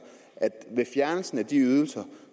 at der med fjernelsen af de ydelser